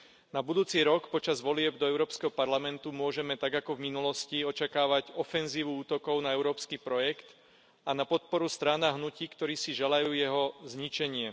Na budúci rok počas volieb do Európskeho parlamentu môžeme, tak ako v minulosti, očakávať ofenzívu útokov na európsky projekt a na podporu strán a hnutí, ktoré si želajú jeho zničenie.